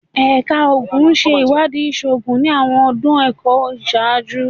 Ẹka Oogun ṣe iwadii iṣoogun ni awọn ọdun ẹkọ iṣaaju